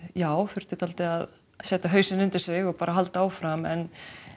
já þurfti að setja hausinn undir sig og halda áfram en